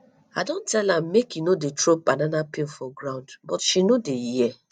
i don tell am make e no dey throw banana peel for ground but she no dey hear